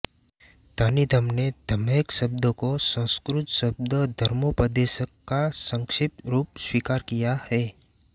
Cunningham ने धमेख शब्द को संस्कृत शब्द धर्मोपदेशक का संक्षिप्त रूप स्वीकार किया है